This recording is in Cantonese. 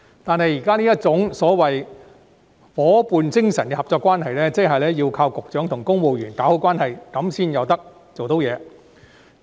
然而，現時這種夥伴精神的合作關係，要靠局長與公務員搞好關係才能成事。